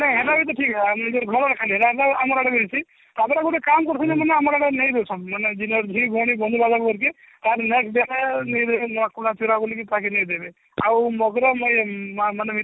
ଆମର ବି ତ ଠିକ ନିଜର ଘରର ଖାଲି ହେଲା ଆମର ଆମର ଆଡେ ବି ଅଛି ତ ପରେ ଗୁଟେ କାମ କରୁଛନି ଆମେ ଆମର ଆଡେ ନେଇ ଯାଉଛନ୍ତି ମାନେ ଝିଅ ଝୁଆଣୀ ବନ୍ଧୁ ବାନ୍ଧବ ଘରକେ ବୋଲିକି ତାକୁ ନେଇ ଦେବେ ଆଉ ମଗର ମିଠା